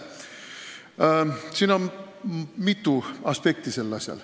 Sellel asjal on mitu aspekti.